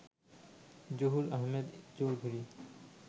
Zahur Ahmed Chowdhury